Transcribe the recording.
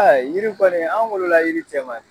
Ɛɛ yiri kɔni an wolo la yiri cɛ ma de.